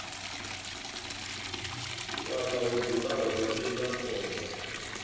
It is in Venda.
fhaḽa ho dzulaho iḽla khomba